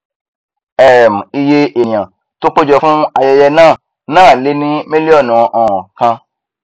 um iyé ènìà tó pé jọ fún ayẹyẹ náà náà lé ní milionu um kan